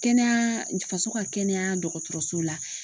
Kɛnɛya faso ka kɛnɛya dɔgɔtɔrɔso la.